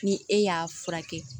Ni e y'a furakɛ